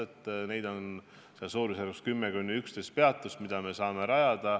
Peatusi, mida me saame rajada, on 10–11.